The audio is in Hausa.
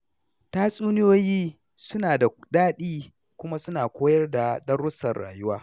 Tatsuniyoyi suna da daɗi kuma suna koyar da darussan rayuwa